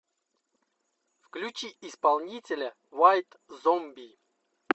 включи исполнителя вайт зомби